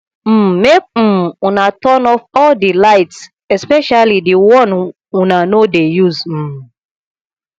um make um una turn off all the lights especially the one una no dey use um